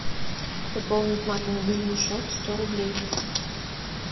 пополнить маме мобильный счет сто рублей